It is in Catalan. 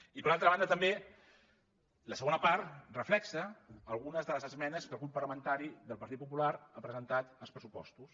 i per altra banda també la segona part reflecteix algunes de les esmenes que el grup parlamentari del partit popular ha presentat als pressupostos